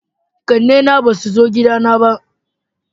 ƙanne na ba su zo gida na ba